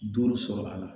Duuru sɔrɔ a la